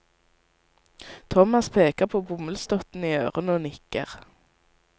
Thomas peker på bomullsdottene i ørene og nikker.